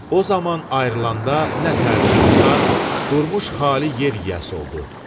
O zaman ayrılanda nə təhər oldusa, durmuş xali yer yiyəsi oldu.